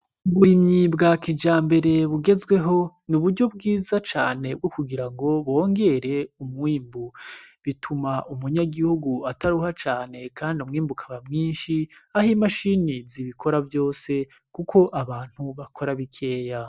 Uburimyi bwa kijambere bugezweho, ni uburyo bwiza cane bwo kugira ngo bongere umwimbu. Bituma umunyagihugu ataruha cane kandi umwimbu ukaba mwinshi aho imashini zibikora vyose kuko abantu bakora bikeya.